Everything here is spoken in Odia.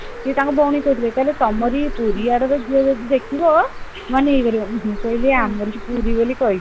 ସେ ତାଙ୍କ ଭଉଣୀ କୁ କହୁଥିଲେ କହୁଥିଲେ ତମରି ସେଇ ପୁରୀ ଆଡର ଝିଅ ଗୋଟେ ଦେଖିବ ମାନେ ମୁଁ କହିଲି ଆମରି ପୁରୀ ବୋଲି କହିଲି